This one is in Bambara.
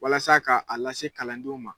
Walasa ka a lase kalandenw ma.